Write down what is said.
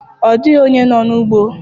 Ọ dịghị onye nọ n'ugbo.